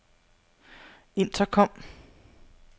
intercom